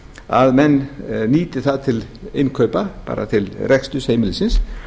að menn nýti það til innkaupa bara til reksturs heimilisins